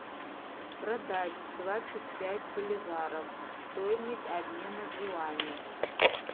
продать двадцать пять боливаров стоимость обмена в юани